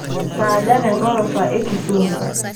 saaja tengorofa ekisumu